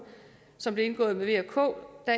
som blev indgået med v og k